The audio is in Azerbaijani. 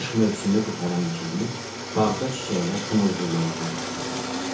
Qış mövsümü qurtaran kimi, bağda çiçəklər tumurcuqlamağa başladı.